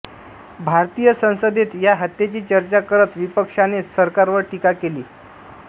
भारतीय संसदेत या हत्येची चर्चा करत विपक्षाने सरकारवर टीका केली